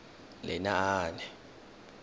lenaane